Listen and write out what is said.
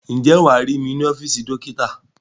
Ǹjẹ́ wàá rí mí ní ọ́fíìsì dókítà?